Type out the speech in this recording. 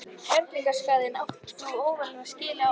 Kerlingarskarð áður en óveðrið skylli á.